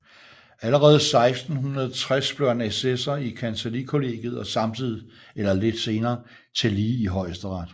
Allerede 1660 blev han assessor i kancellikollegiet og samtidig eller lidt senere tillige i Højesteret